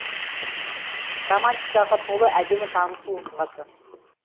романтикаға толы әдемі танысу оқиғасы